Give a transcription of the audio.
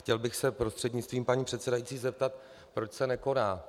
Chtěl bych se prostřednictvím paní předsedající zeptat, proč se nekoná.